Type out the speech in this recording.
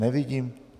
Nevidím...